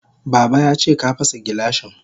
Baba yace ka fasa gilashin.